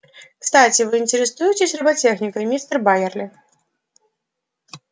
кстати вы интересуетесь роботехникой мистер байерли